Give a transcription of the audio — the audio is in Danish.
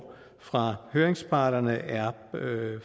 fra høringsparterne er